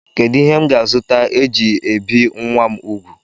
Kedụ ihe m ga-azụta e ji ebi nwa m ugwu?